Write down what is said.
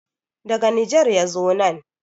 daga Niger ya zo nan